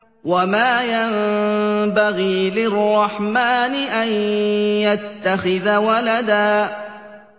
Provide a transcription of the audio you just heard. وَمَا يَنبَغِي لِلرَّحْمَٰنِ أَن يَتَّخِذَ وَلَدًا